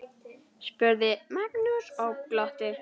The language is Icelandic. spurði Magnús og glotti.